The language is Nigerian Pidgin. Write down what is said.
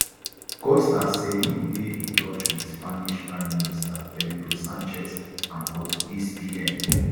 costa say im dey in touch wit spanish prime minister pedro sanchez and portuguese pm